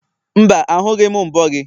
mba, ahụghị m mbo gị.